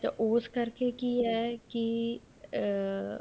ਤੇ ਉਸ ਕਰਕੇ ਕੀ ਹੈ ਕੀ ਅਮ